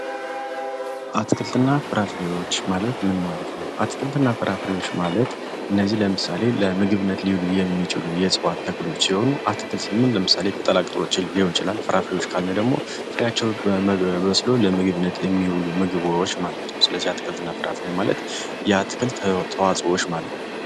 አትክልትና ፍራፍሬዎች ማለት ምን ማለት ነው? አትክልትና ፍራፍሬዎች ማለት እነዚህ ለምሳሌ ለምግብነት ሊውሉ የሚችሉ የእጽዋት ተክሎች ሲሆኑ አትክልት ስንል ለምሳሌ ቅጠላቅጠሎች ሊሆን ይችላል ።ፍራፍሬዎች ካለን ደግሞ ፍሬአቸው በስሎ ለምግብነት የሚውሉ ምግቦች ማለት ነው። ስለዚህ አትክልት እና ፍራፍሬ የአትክልት ተዋኦዎች ማለት ነው።